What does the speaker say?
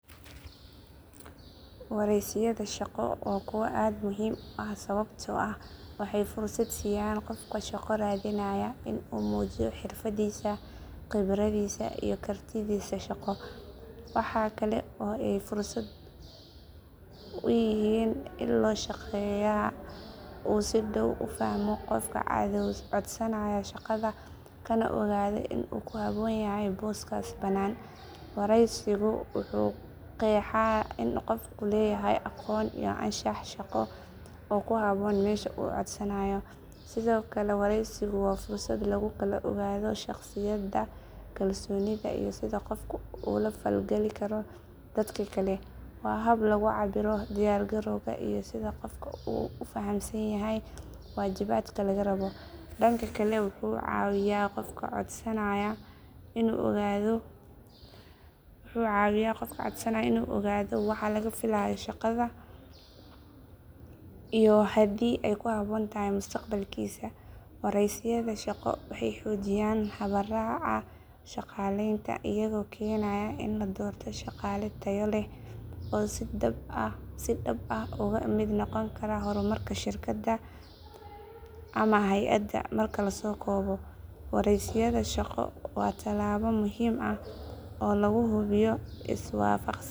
Wareysiyada shaqo waa kuwo aad muhiim u ah sababtoo ah waxay fursad siiyaan qofka shaqo raadinaya in uu muujiyo xirfadiisa, khibradiisa, iyo kartidiisa shaqo. Waxa kale oo ay fursad u yihiin in loo shaqeeyaha uu si dhow u fahmo qofka codsanaya shaqada kana ogaado in uu ku habboon yahay booska banaan. Wareysigu wuxuu qeexaa in qofku leeyahay aqoon iyo anshax shaqo oo ku habboon meesha uu codsanayo. Sidoo kale wareysigu waa fursad lagu kala ogaado shakhsiyadda, kalsoonida, iyo sida qofku ula falgali karo dadka kale. Waa hab lagu cabbiro diyaar garowga iyo sida qofku u fahamsan yahay waajibaadka laga rabo. Dhanka kale wuxuu caawiyaa qofka codsanaya in uu ogaado waxa laga filayo shaqada iyo haddii ay ku habboon tahay mustaqbalkiisa. Wareysiyada shaqo waxay xoojiyaan habraaca shaqaaleynta, iyagoo keenaya in la doorto shaqaale tayo leh oo si dhab ah uga mid noqon kara horumarka shirkadda ama hay’adda. Marka la soo koobo, wareysiyada shaqo waa tallaabo muhiim ah oo lagu hubiyo is waafaqsanaanta shaqaalaha iyo baahida shaqada.